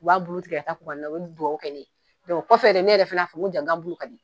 U b'a bulu tigɛ ka u be duwɔwu kɛ ne ye o kɔfɛ de ne yɛrɛ fana y'a fɔ n ko ja n ga bulu ka di.